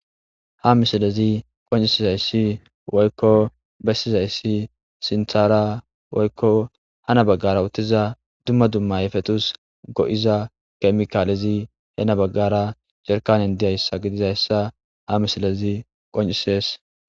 Ha misilezi qoncisizayssi woykko bessizayssi sinthara woykko hana baggara uttiza dumma dumma yefetus go7iza kemikaalezi he na baggara cerkanen diyayssa gidizayssa ha misilezi qoncisees.